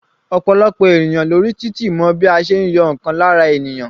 Ọ̀pọ̀lọpọ̀ ènìyàn lórí títì mọ bí a tí ń yọ ǹkan lára ènìyàn.